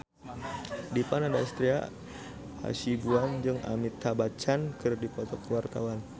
Dipa Nandastyra Hasibuan jeung Amitabh Bachchan keur dipoto ku wartawan